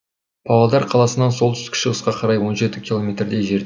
павлодар қаласынан солтүстік шығысқа қарай он жеті километрдей жер